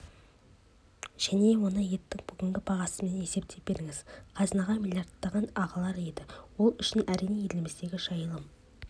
және оны еттің бүгінгі бағасымен есептей беріңіз қазынаға миллиардтар ағылар еді ол үшін әрине елімізде жайылым